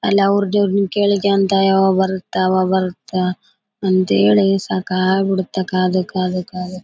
ಅಲ್ಲಿ ಅವರ್ ದೇವ್ರು ನಿಮ್ಗ್ ಕೇಳ್ಳಿಕೆ ಅಂತ ಯಾವಾಗ್ ಬರುತ್ತ ಅವಾಗ್ ಬರುತ್ತ ಅಂತ ಹೇಳಿ ಸಕಾಗ್ಬಿಡತ್ತೆ ಕಾದು ಕಾದು ಕಾದು ಕಾದು.